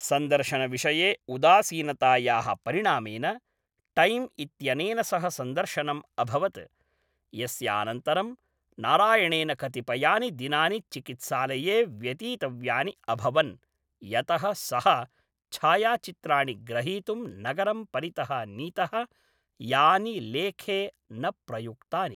सन्दर्शनविषये उदासीनतायाः परिणामेन, टैम् इत्यनेन सह सन्दर्शनम् अभवत्, यस्यानन्तरं नारायणेन कतिपयानि दिनानि चिकित्सालये व्यतीतव्यानि अभवन्, यतः सः छायाचित्राणि ग्रहीतुं नगरं परितः नीतः, यानि लेखे न प्रयुक्तानि।